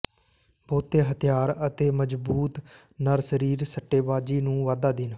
ਬਹੁਤੇ ਹਥਿਆਰ ਅਤੇ ਮਜ਼ਬੂਤ ਨਰ ਸਰੀਰ ਸੱਟੇਬਾਜ਼ੀ ਨੂੰ ਵਾਧਾ ਦੇਣ